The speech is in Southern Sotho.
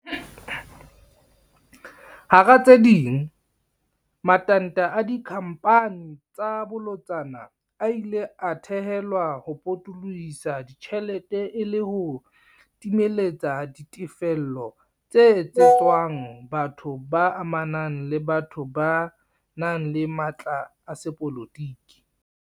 Hara tse ding, matanta a dikhamphani tsa bolotsana a ile a thehelwa ho potolo hisa ditjhelete e le ho timeletsa ditefello tse etsetswang batho ba amanang le batho ba nang le matla a sepolotiki.